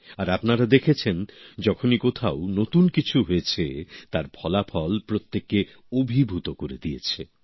আর আপনারা দেখেছেন যখনই কোথাও নতুন কিছু হয়েছে তার ফলাফল প্রত্যেককে অভিভূত করে দিয়েছে